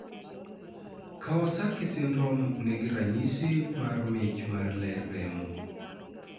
Kawasaki syndrome nigi ranyisi mar mich mar ler remo